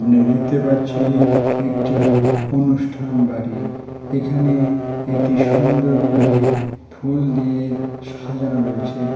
আ-নি দেখতে পাচ্ছি একটি অনুষ্ঠান বাড়ি এখানে একটি সুন্দর করে ফুল দিয়ে সাজানো রয়েছে।